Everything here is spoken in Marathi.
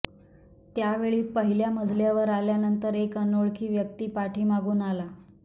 त्यावेळी पहिल्या मजल्यावर आल्यानंतर एक अनोळखी व्यक्ती पाठीमागून आला